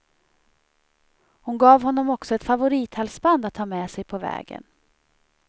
Hon gav honom också ett favorithalsband att ha med sig på vägen.